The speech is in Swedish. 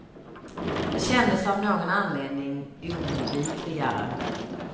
Det kändes av någon anledning oundvikligare.